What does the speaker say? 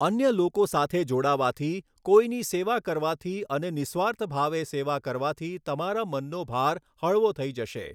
અન્ય લોકો સાથે જોડાવાથી, કોઈની સેવા કરવાથી અને નિઃસ્વાર્થભાવે સેવા કરવાથી તમારા મનનો ભાર હળવો થઈ જશે.